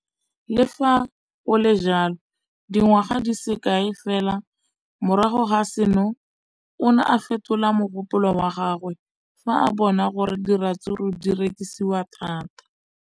Le fa go le jalo, dingwaga di se kae fela morago ga seno, o ne a fetola mogopolo wa gagwe fa a bona gore diratsuru di rekisiwa thata.